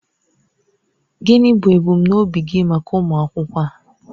Gịnị bụ ebumnobi gị maka ụmụ akwụkwọ a?